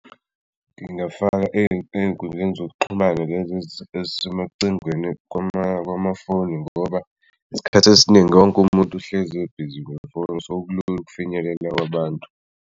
Ngingafaka ey'nkundleni zokuxhumana lezi ezisemacingweni kwamafoni ngoba isikhathi esiningi wonke umuntu uhlezi ebusy ngefoni, so sekulula ukufinyelela kubantu.